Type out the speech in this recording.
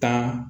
Tan